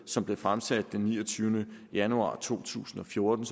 som blev fremsat den niogtyvende januar to tusind og fjorten